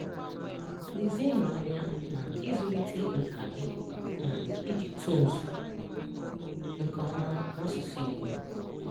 Lezienụ anya na ịzụlite nkà gị na iji tonsu nke ọma na asụsụ Igbo.